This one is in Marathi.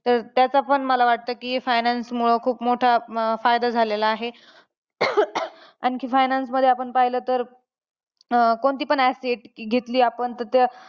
तर त्याचा पण मला वाटतं की finance मूळे खूप मोठा अं फायदा होतो झालेला आहे. आणखी finance मध्ये आपण पाहिलं तर, अं कोणती पण asset घेतली, आपण तर त्या